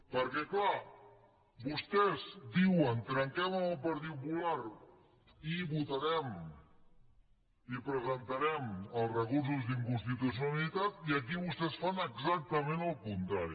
perquè clar vostès diuen trenquem amb el partit popular i presentarem els recursos d’inconstitucionalitat i aquí vostès fan exactament el contrari